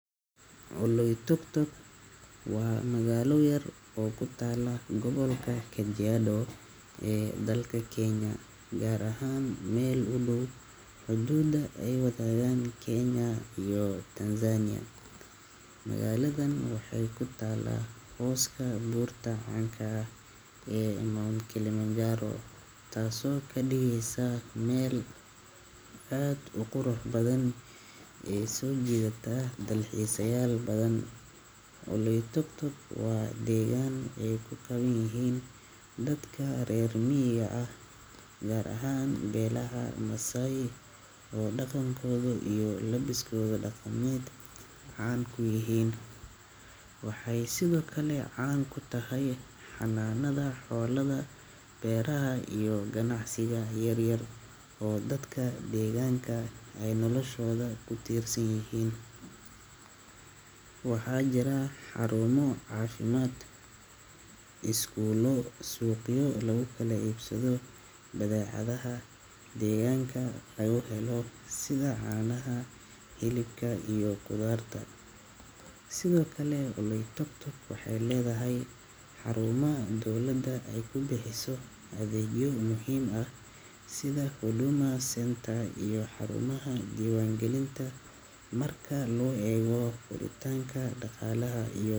Oloitoktok waa magaalo yar oo ku taalla gobolka Kajiado ee dalka Kenya, gaar ahaan meel u dhow xuduudda ay wadaagaan Kenya iyo Tanzania. Magaaladan waxay ku taal hooska buurta caanka ah ee Mount Kilimanjaro, taasoo ka dhigaysa meel aad u qurux badan oo soo jiidata dalxiisayaal badan. Oloitoktok waa deegaan ay ku badan yihiin dadka reer miyiga ah gaar ahaan beelaha Maasai oo dhaqankooda iyo labiskooda dhaqameed caan ku yihiin. Waxay sidoo kale caan ku tahay xanaanada xoolaha, beeraha iyo ganacsiga yar yar oo dadka deegaanka ay noloshooda ku tiirsan yihiin. Waxaa jira xarumo caafimaad, iskuulo iyo suuqyo lagu kala iibsado badeecadaha deegaanka laga helo sida caanaha, hilibka iyo khudaarta. Sidoo kale, Oloitoktok waxay leedahay xarumo dowladda ay ku bixiso adeegyo muhiim ah sida Huduma Centre iyo xarumaha diiwaangelinta. Marka loo eego koritaanka dhaqaalaha iyo.